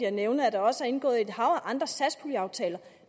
at nævne at der også er indgået et hav af andre satspuljeaftaler